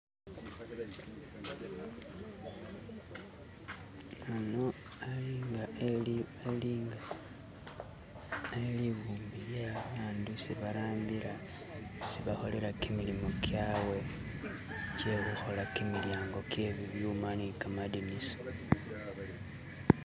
ano ali nga eli nyifu elibumbi lye babandu barambila isi bakholela kimilimu kyawe kyekhukhola kimilyango kye bibyuma ni kamadinisa